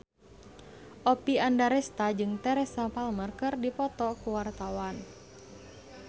Oppie Andaresta jeung Teresa Palmer keur dipoto ku wartawan